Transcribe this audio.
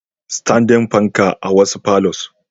Standing panka a wasu palours.